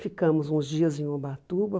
Ficamos uns dias em Ubatuba.